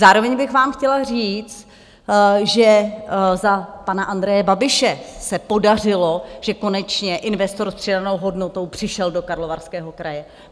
Zároveň bych vám chtěla říct, že za pana Andreje Babiše se podařilo, že konečně investor s přidanou hodnotou přišel do Karlovarského kraje.